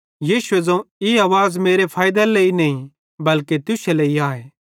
यीशुए ज़ोवं ई आवाज़ मेरे फैइदेरे लेइ नईं बल्के तुश्शे लेइ आए